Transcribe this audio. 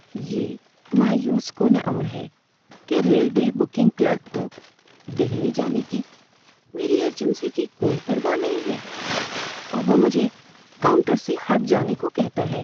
یہ مایوس کن امر ہے کہ ریلوے بکنگ کلرک کو دہلی جانے کی میری ارجنسی کی کوئی پرواہ نہیں ہے اور وہ مجھے کاؤنٹر سے ہٹ جانے کو کہتا ہے۔